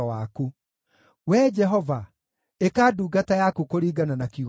Wee Jehova, ĩka ndungata yaku kũringana na kiugo gĩaku.